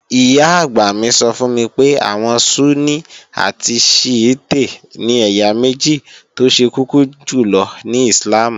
Ìyá-àgbà mi sọ fún mi pé àwọn Súnní àti Shíítè ni ẹ̀yà méjì tó ṣe kọ́kọ́ jùlọ ní Íslàmù